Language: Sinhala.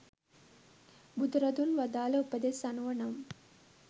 බුදුරදුන් වදාළ උපදෙස් අනුව නම්,